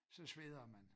Så sveder man